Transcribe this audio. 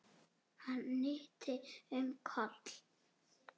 Hann hnyti um koll!